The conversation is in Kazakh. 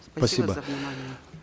спасибо за внимание